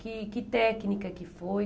Que que técnica que foi?